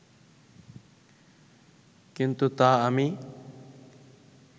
কিন্তু তা আমি